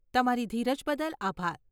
તમારી ધીરજ બદલ આભાર.